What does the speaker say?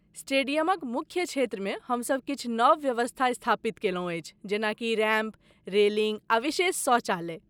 स्टेडियमक मुख्य क्षेत्रमे हमसभ किछु नव व्यवस्था स्थापित केलहुँ अछि जेनाकि रैम्प, रेलिंग आ विशेष शौचालय।